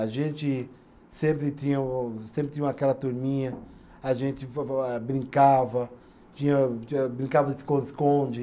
A gente sempre tinha o, sempre tinha o aquela turminha, a gente va va eh brincava, tinha tinha brincava de esconde-esconde.